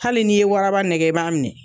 Hali n'i ye waraba nɛgɛ, i b'a minɛ.